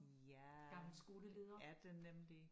Ja er det nemlig